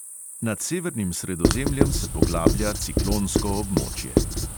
Nad severnim sredozemljem se poglablja ciklonsko območje.